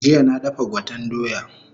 Jiya na dafa gwaten doya